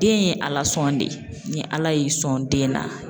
Den ye Alasɔn de ye, ni Ala y'i sɔn den na